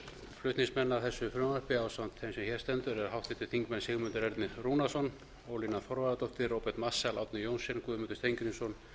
flutningsmenn að þessu frumvarpi ásamt þeim sem hér stendur eru háttvirtir þignmenn sigmundur ernir rúnarsson ólína þorvarðardóttir róbert marshall árni johnsen guðmundur steingrímsson